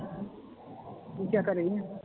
ਰਿਸਾ ਘਰੇ ਹੀ ਆਂ?